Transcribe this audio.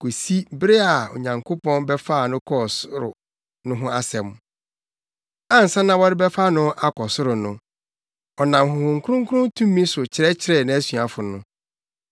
kosi bere a Onyankopɔn bɛfaa no kɔɔ ɔsoro no ho asɛm. Ansa na wɔrebɛfa no akɔ ɔsoro no, ɔnam Honhom Kronkron tumi so kyerɛkyerɛɛ nʼasuafo no.